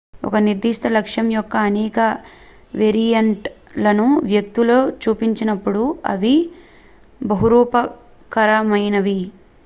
ఒక నిర్ధిష్ట లక్షణం యొక్క అనేక వేరియెంట్ లను వ్యక్తులు చూపించినప్పుడు అవి బహురూపకమైనవి